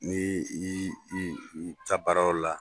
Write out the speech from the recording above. N'i i i i taa baarayɔ la.